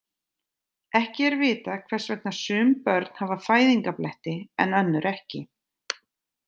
Ekki er vitað hvers vegna sum börn hafa fæðingarbletti en önnur ekki.